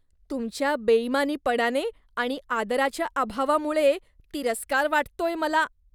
तुमच्या बेईमानीपणाने आणि आदराच्या अभावामुळे तिरस्कार वाटतोय मला.